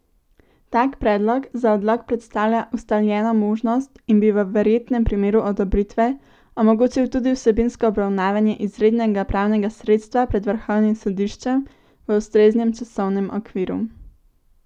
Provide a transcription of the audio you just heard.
Tak predlog za odlog predstavlja ustaljeno možnost in bi, v verjetnem primeru odobritve, omogočil tudi vsebinsko obravnavanje izrednega pravnega sredstva pred Vrhovnim sodiščem v ustreznem časovnem okviru.